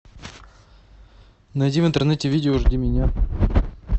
найди в интернете видео жди меня